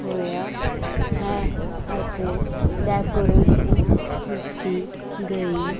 ਹੋਇਆ ਹੈ ਅਤੇ ਡੈਕੋਰੇਸ਼ਨ ਕੀਤੀ ਗਈ--